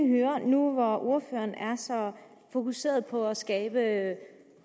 nu hvor ordføreren er så fokuseret på at skabe